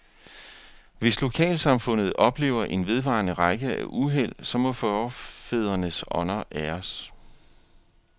Hvis lokalsamfundet oplever en vedvarende række af uheld, så må forfædrenes ånder æres.